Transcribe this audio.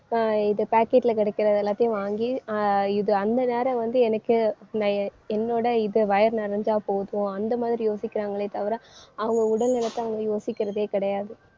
அஹ் இது packet ல கிடைக்கிற எல்லாத்தையும் வாங்கி ஆஹ் இது அந்த நேரம் வந்து எனக்கு நான் என்னோட இது வயிறு நிறைஞ்சா போதும் அந்த மாதிரி யோசிக்கிறாங்களே தவிர அவங்க உடல் நலத்தை அவங்க யோசிக்கிறதே கிடையாது.